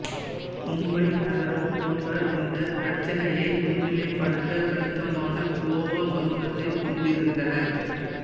மும்பை நகரம் போன்ற இந்த பிரச்சினையை முன்னிலைப்படுத்த கணிசமான கோவா சமூகத்தைக் கொண்டிருந்தன